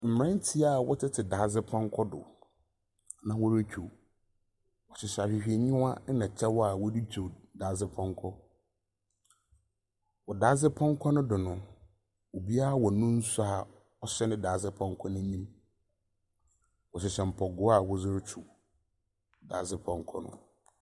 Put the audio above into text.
Mmeranteɛ a wɔtete dadzepɔnkɔ do na wɔretwiw. Wɔhyehyɛ ahwehwɛniwa na kyɛw a wɔde twiw dadzepɔnkɔ. Wɔ dadze pɔnkɔ no do no, obiara wɔ ne nsuo a ɔhyɛ ne dadzepɔnkɔ no anim. Wɔhyehyɛ mpaboa a wɔdze ritwiw dadzepɔnkɔ no.